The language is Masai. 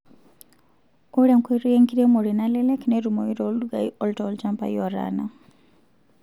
Ore enkoitoi enkiremore nalelek netumoi toldukai oo tolchampai otanaa.